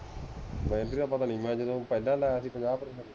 battery ਦਾ ਪਤਾ ਨਹੀਂ ਮੈ ਜਦੋ ਪਹਿਲਾ ਲਾਇਆ ਸੀ ਪੰਜਾਹ ਪ੍ਰਤੀਸ਼ਤ ਸੀ